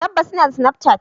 Tabbas inada snapchat.